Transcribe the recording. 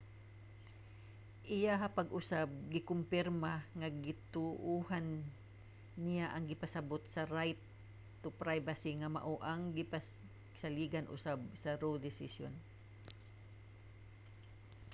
iyaha pag-usab gikompirma nga gituohan niya ang gipasabut sa right to privacy nga mao ang gisaligan usab sa roe desisyon